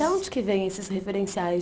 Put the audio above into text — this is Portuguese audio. Da onde que vem esses referenciais?